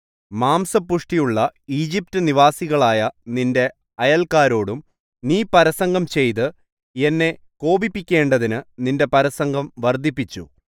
മാംസപുഷ്ടിയുള്ള ഈജിപ്റ്റ്നിവാസികളായ നിന്റെ അയല്ക്കാരോടും നീ പരസംഗം ചെയ്ത് എന്നെ കോപിപ്പിക്കേണ്ടതിന് നിന്റെ പരസംഗം വർദ്ധിപ്പിച്ചു